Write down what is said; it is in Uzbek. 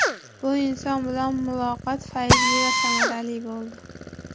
Bu inson bilan muloqot fayzli va samarali bo‘ldi.